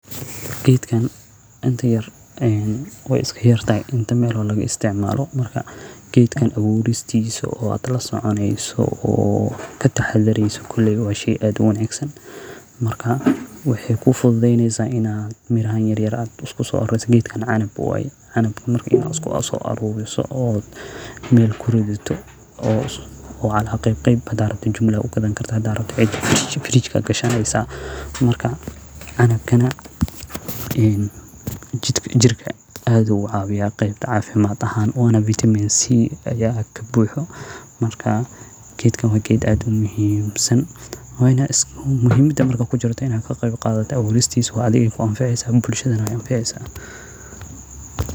Gedkan e wa iskayartahay melo laga isticmalo gedkan abuuristisa wad lasoconeyso o kataxadarryso wa shay ad u wanagsan. Waxay kufududeyneysa ina miraha yaryar ad isku so aruriso a gedkan canab waya marka ina iskuso aruuriso waya meel kuridito o cala qeyb qeyb xata jumla ugadan karta hada rabto hada rabtid [cs frige marka canabkana e jirka ad u ucawiya qeybta cafimad ahan wana vitamin c aya kabuuxo marka gedakan wa geed ad umuhimsan. Muhimada kujirta ina kaqeyb qadato abuuristisa adiga ay ku anfaceysa.